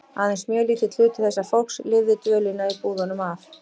Aðeins mjög lítill hluti þessa fólks lifði dvölina í búðunum af.